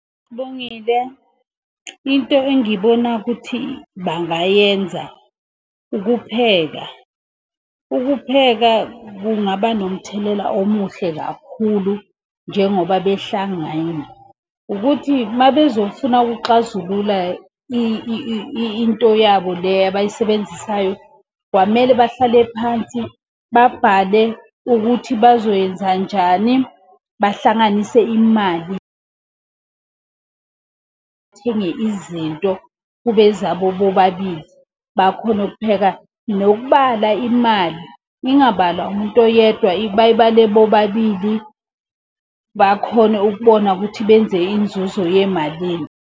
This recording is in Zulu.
Sibongile. Into engibona ukuthi bangayenza ukupheka. Ukupheka kungaba nomthelela omuhle kakhulu njengoba behlangene. Ukuthi uma bezofuna ukuxazulula into yabo le abayisebenzisayo, kwamele bahlale phansi babhale ukuthi bazoyenza njani. Bahlanganise imali bathenge izinto kube ezabo bobabili bakhone ukupheka. Nokubala imali, ingabalwa umuntu oyedwa bayibale bobabili, bakhone ukubona ukuthi benze inzuzo yemalini.